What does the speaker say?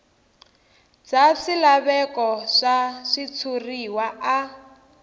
bya swilaveko swa switshuriwa a